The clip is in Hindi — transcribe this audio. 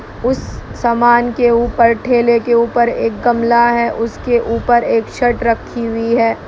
उस समान के ऊपर ठेले के ऊपर एक गमला है उसके ऊपर एक शर्ट रखी हुई है।